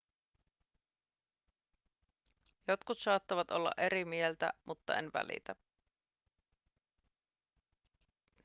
jotkut saattavat olla eri mieltä mutta en välitä